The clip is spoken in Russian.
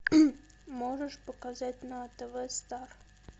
можешь показать на тв стар